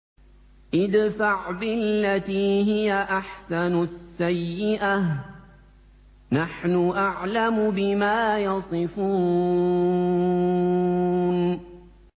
ادْفَعْ بِالَّتِي هِيَ أَحْسَنُ السَّيِّئَةَ ۚ نَحْنُ أَعْلَمُ بِمَا يَصِفُونَ